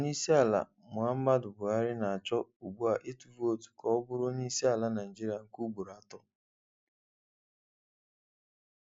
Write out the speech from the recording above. Onye isi ala Muhammadu Buhari na-achọ ugbu a ịtụ vootu ka ọ bụrụ onyeisiala Naịjirịa nke ugboro atọ.